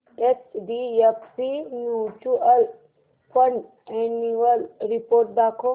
HDFC mutual fund annual report दाखव